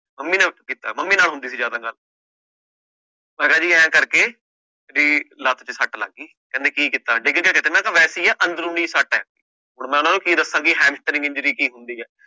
Mummy ਨੇ ਕੀਤਾ mummy ਨਾਲ ਹੁੰਦੀ ਸੀ ਜ਼ਿਆਦਾ ਗੱਲ ਮੈਂ ਕਿਹਾ ਜੀ ਇਉਂ ਕਰਕੇ ਵੀ ਲੱਤ ਤੇ ਸੱਟ ਲੱਗ ਗਈ ਕਹਿੰਦੇ ਕੀ ਕੀਤਾ ਡਿੱਗ ਗਿਆ ਕਿਤੇ ਮੈਂ ਕਿਹਾ ਵੈਸੇ ਹੀ ਹੈ ਅੰਦਰੂਨੀ ਸੱਟ ਹੈ ਹੁਣ ਮੈਂ ਉਹਨਾਂ ਨੂੰ ਕੀ ਦੱਸਾਂ ਵੀ injury ਕੀ ਹੁੰਦੀ ਹੈ।